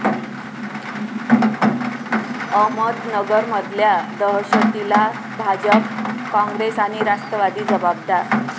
अहमदनगरमधल्या दहशतीला भाजप, काँग्रेस आणि राष्ट्रवादी जबाबदार'